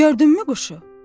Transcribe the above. Gördünmü quşu?